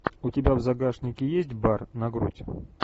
у тебя в загашнике есть бар на грудь